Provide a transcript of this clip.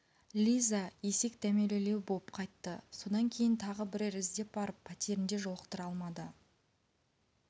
лиза есек дәмелілеу боп қайтты содан кейін тағы бірер іздеп барып пәтерінде жолықтыра алмады